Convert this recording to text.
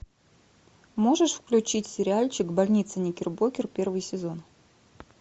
можешь включить сериальчик больница никербокер первый сезон